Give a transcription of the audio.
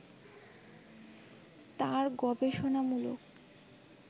তাঁর গবেষণামূলক